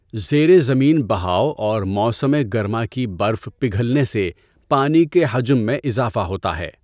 زیر زمین بہاؤ اور موسم گرما کی برف پگھلنے سے پانی کے حجم میں اضافہ ہوتا ہے۔